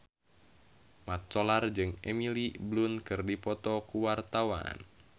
Mat Solar jeung Emily Blunt keur dipoto ku wartawan